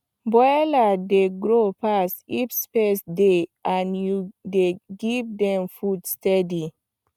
broiler dey grow fast if space dey and you dey give dem food steady